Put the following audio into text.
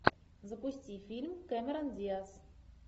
запусти фильм кэмерон диаз